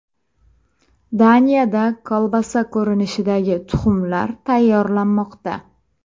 Daniyada kolbasa ko‘rinishidagi tuxumlar tayyorlanmoqda .